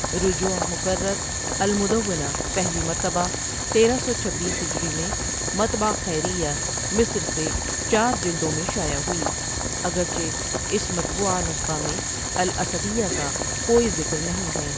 رجوع مکرر المدونۃ پہلی مرتبہ تیرہ سو چبیس ہجری میں مطبع خیر یہ مصر سے چار جلدوں میں شائع ہوئی اگرچہ اس مطبوعہ نسخہ میں الاسدیہ کاکوئی ذکر نہیں ہے ۔